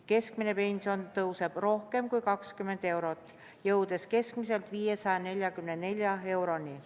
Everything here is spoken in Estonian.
Keskmine pension tõuseb rohkem kui 20 eurot, jõudes keskmiselt 544 euroni.